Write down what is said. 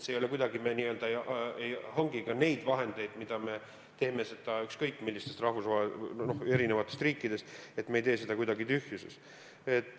See ei ole nii, et me hangiks ka neid vahendeid, mida me toome ükskõik millistest riikidest, kuidagi tühjuses.